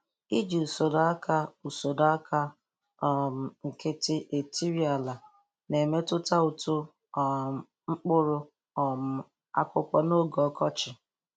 lji usoro aka usoro aka um nkịtị etiri ala na-emetụta uto um mkpụrụ um akụkụ n'oge ọkọchị.